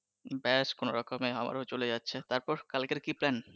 ব্যাস কোনরকমে আমারও চলে যাচ্ছে তারপর কালকের কি plan